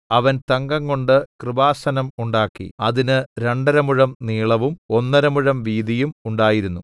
അവൻ തങ്കംകൊണ്ട് കൃപാസനം ഉണ്ടാക്കി അതിന് രണ്ടരമുഴം നീളവും ഒന്നര മുഴം വീതിയും ഉണ്ടായിരുന്നു